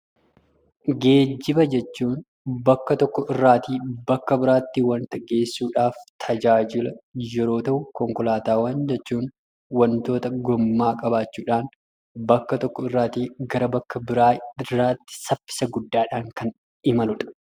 Geejjiba jechuun bakka tokko irraatii bakka biraatti wanta geessudhaaf tajaajila yeroo ta'u konkolaataawwan jechuun wantoota gommaa qabaachuudhaan bakka tokko irraatii gara bakka biraa irraatti saffisa guddaadhaan kan imaludha.